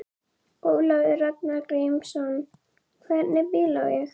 Ólafur Ragnar Grímsson: Hvernig bíl á ég?